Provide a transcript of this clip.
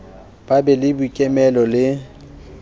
ba be le boikemelo le